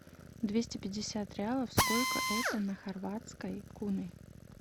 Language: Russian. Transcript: двести пятьдесят реалов сколько это на хорватской куны